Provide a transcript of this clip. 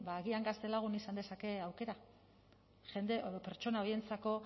ba agian gaztelagun izan dezake aukera jende edo pertsona horientzako